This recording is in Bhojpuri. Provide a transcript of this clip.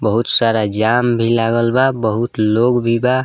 बहुत सारा जाम भी लागल बा बहुत लोग भी बा।